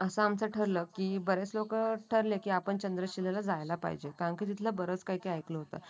असं आमचं ठरलं की बरेच लोकं ठरले की आपण चंद्रशिला जायेला पाहिजे कारण की तिथले बरेच काही काही ऐकलं होतं.